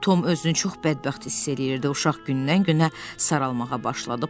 Tom özünü çox bədbəxt hiss eləyirdi, uşaq gündən-günə saralmağa başladı.